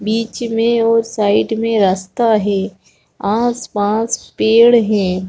बीच में और साइड में रास्ता है आस-पास पेड़ है।